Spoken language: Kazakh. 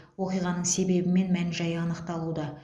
оқиғаның себебі мен мән жайы анықталуда